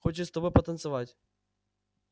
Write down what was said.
хочет с тобой потанцевать